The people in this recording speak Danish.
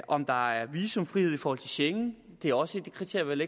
om der er visumfrihed i forhold til schengen er også et kriterium